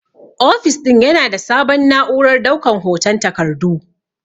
Ofis din Yana da sabon na'urar daukan hoton takardu.